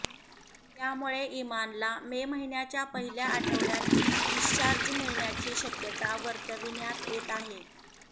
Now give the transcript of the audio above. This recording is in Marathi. त्यामुळे इमानला मे महिन्याच्या पहिल्या आठवडय़ात डिस्चार्ज मिळण्याची शक्यता वर्तविण्यात येत आहे